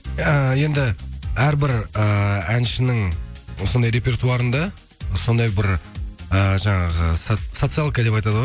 эээ енді әрбір эээ әншінің сондай репертуарында сондай бір э жаңағы социалка деп айтады ғой